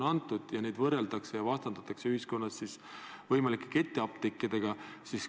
Nüüd võrreldakse ja vastandatakse neid ühiskonnas võimalike ketiapteekidega.